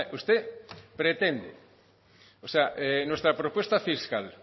usted pretende o sea nuestra propuesta fiscal